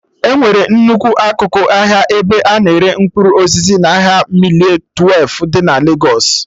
Enwere nnukwu akụkụ ahịa ebe a na-ere mkpụrụ osisi n'ahịa mịle twelfụ dị na Legos